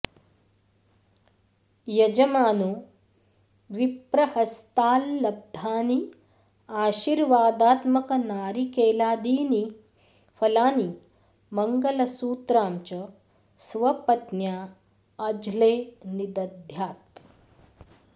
यजमानो विप्रहस्ताल्लब्धानि आशीर्वादात्मकनारिकेलादीनि फलानि मङ्लसूत्रां च स्वपत्न्या अझ्ले निदध्यात्